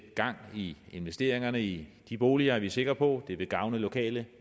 gang i investeringerne i de boliger er vi sikre på og det vil gavne lokale